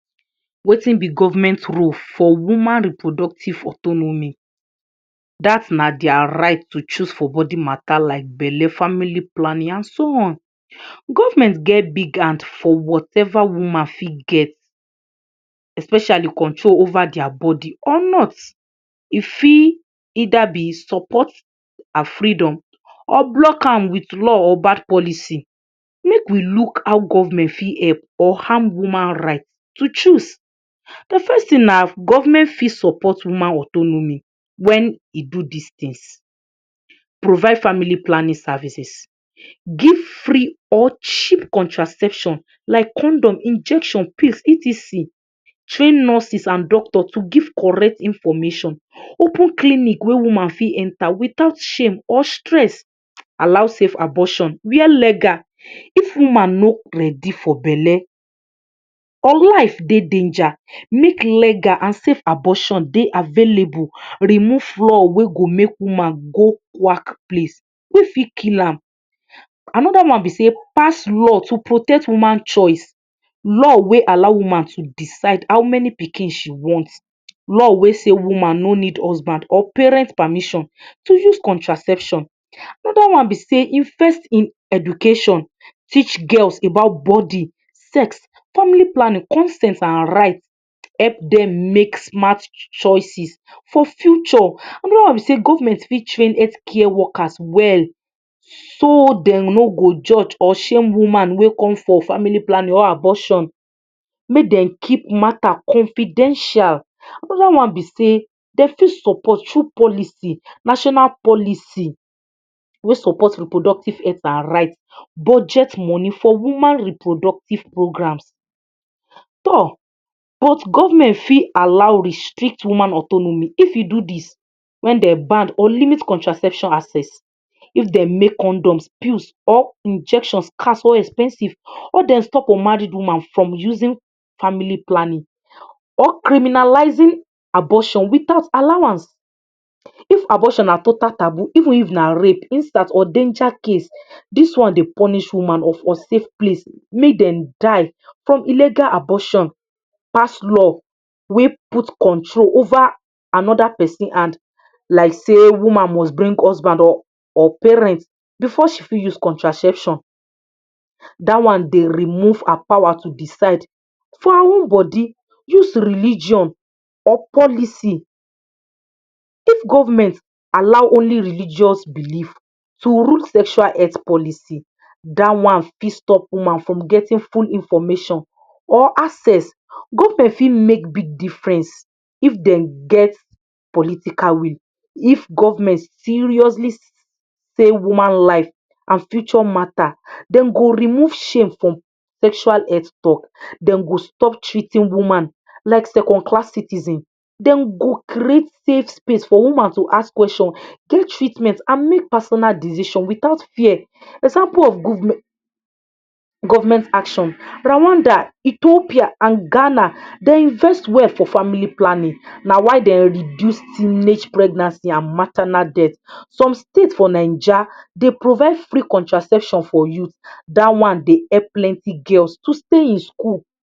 Wetin be government role for woman reproductive autonomy? Dat na dia right to choose for bodi matter like belle, family planning an so on. Government get big hand for whatever woman fit get, especially control over dia bodi or not. E fit either be support her freedom, or block am with law or bad policy. Make we look how government fit help or harm woman right to choose. Di first tin na government fit support woman autonomy wen e do dis tins: Provide family planning services; Give free or cheap contraception like condom, injection, pills, etc; Train nurses an doctor to give correct information; Open clinic wey woman fit enter without shame or stress; Allow safe abortion where legal; If woman no ready for belle or life dey danger, make legal an safe abortion dey available; Remove law wey go make woman go quack place wey fit kill am; Another one be sey pass law to protect woman choice, law wey allow woman to decide how many pikin she want, law wey say woman no need husband or parent permission to use contraception; Another one be sey invest in education. Teach girls about bodi, sex, family planning, consent an right. Help dem make smart choices for future; Another one be sey government fit train health workers well so dem no go judge or shame woman wey come for family planning or abortion. Make dem keep matter confidential; Another one be sey de fit support true policy, national policy wey support reproductive health an right, budget money for woman reproductive programs. Toor! But government fit allow restrict woman autonomy if e do dis: Wen de banned or limit contraception access; If dem make condoms, pill, or injections scarce of expensive, or de stop unmarried woman from using family planning, or criminalising abortion without allowance; If abortion na total taboo, even if na rape, instant or danger case, dis one dey punish woman of unsafe place make dem die from illegal abortion; Pass law wey put control over another pesin hand like sey woman must bring husband or or parent before she fit use contraception. Dat one dey remove her power to decide for her own bodi; Use religion or policy: If government allow only religious belief to rule sexual health policy, dat one fit stop woman from getting full information or access; Government fit make big difference if dem get political will. If government seriously say woman life an future matter, dem go remove shame from sexual health talk, dem go stop treating woman like second-class citizen, dem go create safe space for woman to ask question, get treatment, an make personal decision without fear. Example of government action: Rwanda, Ethiopia, an Ghana de invest well for family planning. Na why de reduce teenage pregnancy an maternal death. Some state for Naija dey provide free contraception for you. Dat one dey help plenti girls to stay in school